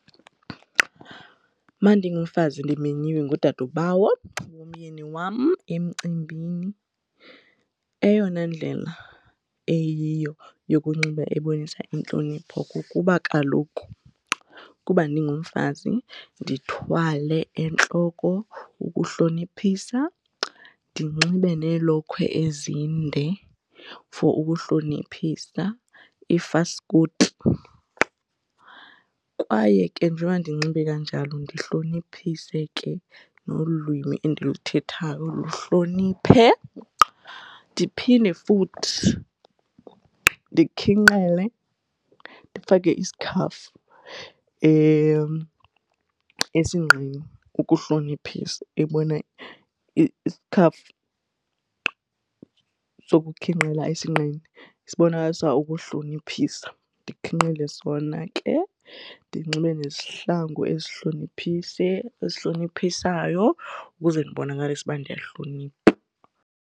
Mandingumfazi ndimenyiwe ngudadobawo womyeni wam emcimbini, eyona ndlela eyiyo yokunxiba ebonisa intlonipho kukuba kaloku kuba ndingumfazi ndithwale entloko ukuhloniphisa ndinxibe neelokhwe ezinde for ukuhloniphisa iifaskoti. Kwaye ke njengoba ndinxibe kanjalo ndihloniphise nolwimi endiluthethayo luhloniphe ndiphinde futhi ndikhinqele, ndifake isikhafu esinqeni ukuhloniphisa isikhafu sokukhinqela esinqeni esibonakalisa ukuhloniphisa, ndikhinqile sona ke ndinxibe nezihlangu ezihloniphise ezihloniphisayo ukuze ndibonakalise ukuba ndiyahlonipha.